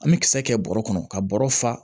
An bɛ kisɛ kɛ bɔrɔ kɔnɔ ka bɔrɔ fa